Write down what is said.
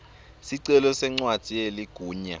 sicelo sencwadzi yeligunya